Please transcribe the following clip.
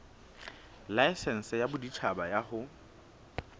laesense ya boditjhaba ya ho